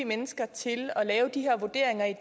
mennesker til